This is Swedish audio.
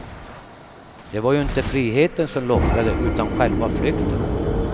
Det var ju inte friheten som lockade utan själva flykten.